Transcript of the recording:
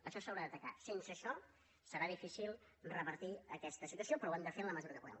això s’haurà d’atacar sense això serà difícil revertir aquesta situació però ho hem de fer en la mesura que puguem